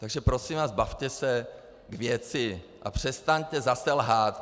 Takže, prosím vás, bavte se k věci a přestaňte zase lhát.